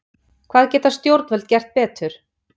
Hvað geta stjórnvöld gert betur?